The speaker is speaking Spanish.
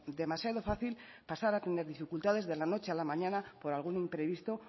demasiado fácil pasar a tener dificultades de la noche a la mañana por algún imprevisto